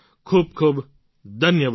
ખૂબ ખૂબ ધન્યવાદ